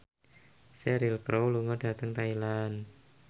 Cheryl Crow lunga dhateng Thailand